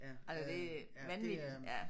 Altså det vanvittigt ja